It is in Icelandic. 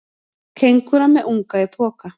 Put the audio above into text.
Kengúra með unga í poka.